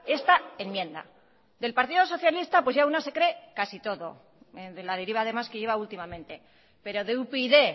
esta enmienda del partido socialista pues ya una se cree casi todo de la deriva además que lleva últimamente pero de upyd